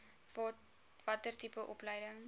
watter tipe opleiding